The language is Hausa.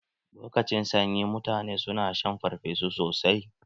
Lokacin sanyi, mutane su na shan farfesu sosai.